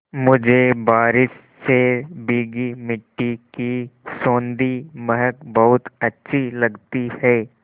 मुझे बारिश से भीगी मिट्टी की सौंधी महक बहुत अच्छी लगती है